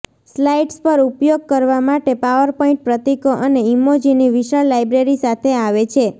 slides પર ઉપયોગ કરવા માટે પાવરપોઈન્ટ પ્રતીકો અને ઇમોજીની વિશાળ લાઇબ્રેરી સાથે આવે છે